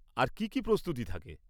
আর কী কী প্রস্তুতি থাকে?